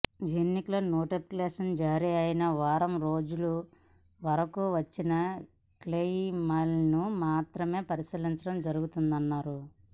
ఎన్నికల నోటిఫికేషన్ జారీ అయిన వారం రోజుల వరకు వచ్చిన క్లెయిమ్లను మాత్రమే పరిశీలించడం జరుగుతుందన్నారు